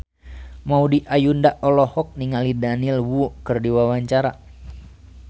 Maudy Ayunda olohok ningali Daniel Wu keur diwawancara